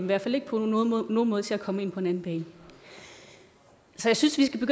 hvert fald ikke på nogen måde til at komme ind på en anden bane så jeg synes vi skal